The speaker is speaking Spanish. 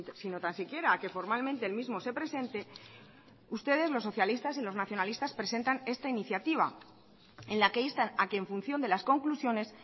sino tan siquiera a que formalmente el mismo se presente ustedes los socialistas y los nacionalistas presentan esta iniciativa en la que instan a que en función de las conclusiones